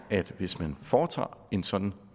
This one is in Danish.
at hvis man foretager en sådan